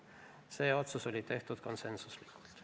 Need otsused tehti konsensuslikult.